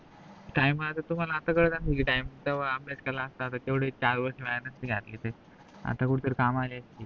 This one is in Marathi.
time आता तुम्हाला अस कळल कि time तवा अभ्यास केला असत तर तेवढे चार वर्ष वाया नसते घातले ते आता कुठतरी कामला असते